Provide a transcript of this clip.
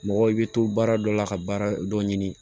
Mɔgɔ i bɛ to baara dɔ la ka baara dɔ ɲini